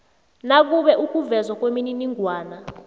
nakube ukuvezwa kwemininingwana